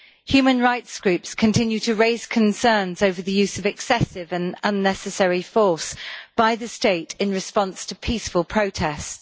Human rights groups continue to raise concerns over the use of excessive and unnecessary force by the state in response to peaceful protests.